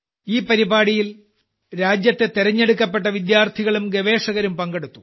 ഈ പരിപാടിയിൽ രാജ്യത്തെ തെരഞ്ഞെടുക്കപ്പെട്ട വിദ്യാർത്ഥികളും ഗവേഷകരും പങ്കെടുത്തു